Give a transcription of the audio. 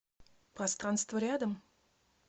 пространство рядом